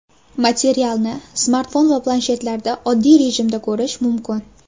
Materialni smartfon va planshetlarda oddiy rejimda ko‘rish mumkin.